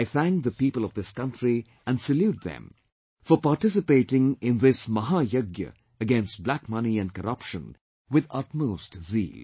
I thank the people of this country and salute them for participating in this Mahayagya against black money and corruption with utmost zeal